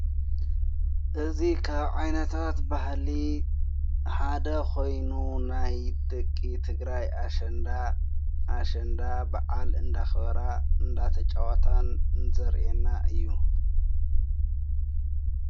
እዙ ኻብ ዓይናታት ባህሊ ሓደ ኾይኑ ናይደቂ ትግራይ ኣሽንዳ ኣሸንዳ ብዓል እንዳኽበራ እንዳተ ጨዋታን ንዘርአና እዩ።